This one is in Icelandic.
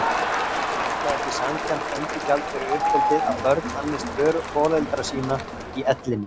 Er það ekki sanngjarnt endurgjald fyrir uppeldið að börn annist foreldra sína í ellinni?